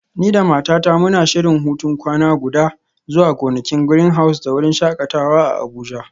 Ni da matata muna shirin hutun kwana guda zuwa gonakin Greenhouse da wurin shakatawa a Abuja.